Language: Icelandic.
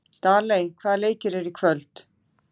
Daley, hvaða leikir eru í kvöld?